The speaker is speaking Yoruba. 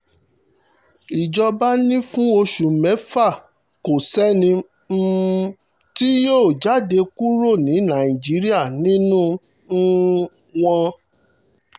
ìjọba ni fún oṣù mẹ́fà kò sẹ́ni um tí yóò jáde kúrò ní nàìjíríà nínú um wọn